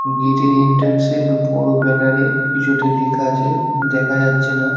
Gate -এর entrance -এর বড় ব্যানার -এ কিছু একটা লেখা আছে দেখা যাচ্ছে না।